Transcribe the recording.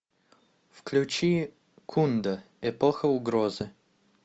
включи кундо эпоха угрозы